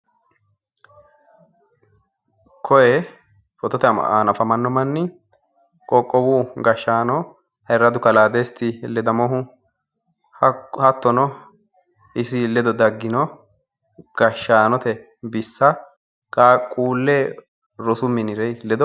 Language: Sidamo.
Koye footote aana afamanno mani qoqqowu gashshaano ayiirradu kalaa desti ledamohu hattono isi ledo daggino gashshaanote bissa qaaqquule rosu minire ledo